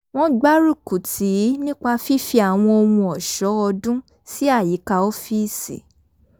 wọ́n gbárúkù tìí nípa fífi àwọn ohun ọ̀ṣọ́ ọdún sí àyíká ọ́fíìsì